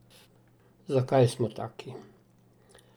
Zakaj smo taki?